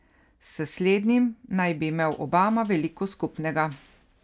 S slednjim naj bi imel Obama veliko skupnega.